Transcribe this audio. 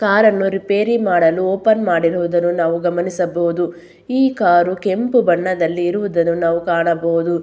ಕಾರನ್ನು ರಿಪೇರಿ ಮಾಡಲು ಓಪನ್ ಮಾಡಿರುವುದನ್ನು ನಾವು ಗಮನಿಸಬಹುದು ಈ ಕಾರು ಕೆಂಪು ಬಣ್ಣದಲ್ಲಿ ಇರುವುದನ್ನು ನಾವು ಕಾಣಬಹುದು.